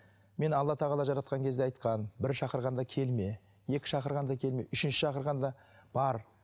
мені алла тағала жаратқан кезде айтқан бір шақырғанда келме екі шақырғанда келме үшінші шақырғанда бар